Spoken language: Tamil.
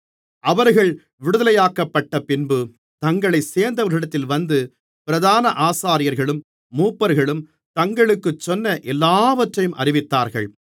அவர்கள் விடுதலையாக்கப்பட்டப்பின்பு தங்களைச் சேர்ந்தவர்களிடத்தில் வந்து பிரதான ஆசாரியர்களும் மூப்பர்களும் தங்களுக்குச் சொன்ன எல்லாவற்றையும் அறிவித்தார்கள்